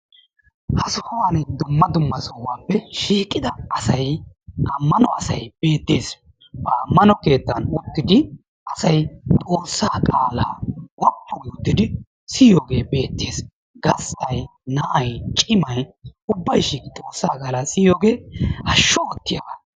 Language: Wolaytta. Ha sohuwani dumma dumma sohuwappe shiiqida asaay; ammano asay de'ees. Ha ammano keettan uttidi asay xoossaa qaala woppu gidi uttidi siyiyoge beetes. Gasttay, naa'ay, cimay ubbay shiiqidi xoossaa qaala hashshu ottiyaba.